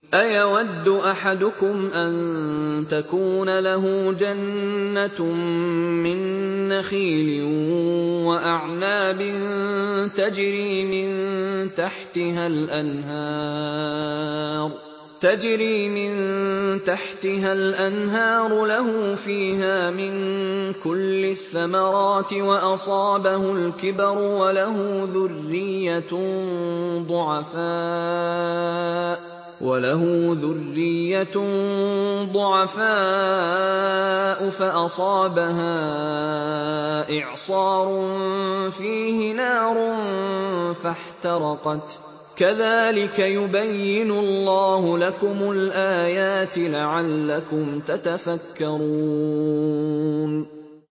أَيَوَدُّ أَحَدُكُمْ أَن تَكُونَ لَهُ جَنَّةٌ مِّن نَّخِيلٍ وَأَعْنَابٍ تَجْرِي مِن تَحْتِهَا الْأَنْهَارُ لَهُ فِيهَا مِن كُلِّ الثَّمَرَاتِ وَأَصَابَهُ الْكِبَرُ وَلَهُ ذُرِّيَّةٌ ضُعَفَاءُ فَأَصَابَهَا إِعْصَارٌ فِيهِ نَارٌ فَاحْتَرَقَتْ ۗ كَذَٰلِكَ يُبَيِّنُ اللَّهُ لَكُمُ الْآيَاتِ لَعَلَّكُمْ تَتَفَكَّرُونَ